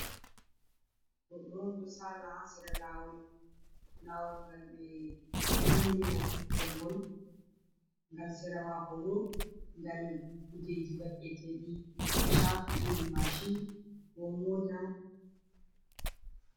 Goɗɗo on ɗo sala hasera lawol, lawol ngal be umri mo tokkira gol ngal sera mako bo ngal kujeji ba eteɗum ko shafi irin mashin be mota.